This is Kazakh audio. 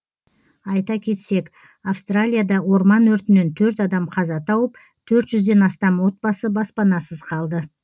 айта кетсек австралияда орман өртінен төрт адам қаза тауып төрт жүзден астам отбасы баспанасыз қалды